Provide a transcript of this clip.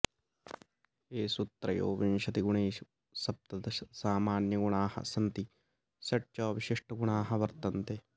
एषु त्रयोविंशति गुणेषु सप्तदश सामान्यगुणाः सन्ति षट् च विशिष्टगुणाः वर्तन्ते